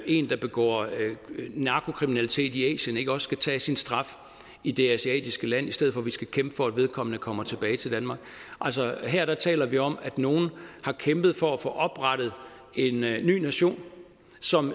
en der begår narkokriminalitet i asien ikke også skal tage sin straf idet asiatiske land i stedet for at vi skal kæmpe for at vedkommende kommer tilbage til danmark altså her taler vi om at nogen har kæmpet for at få oprettet en ny nation som